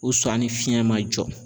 ni fiɲɛ ma jɔ